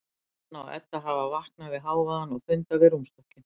Anna og Edda hafa vaknað við hávaðann og funda við rúmstokkinn.